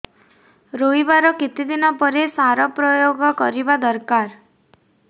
ରୋଈବା ର କେତେ ଦିନ ପରେ ସାର ପ୍ରୋୟାଗ କରିବା ଦରକାର